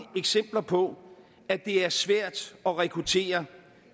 eksempler på at det er svært at rekruttere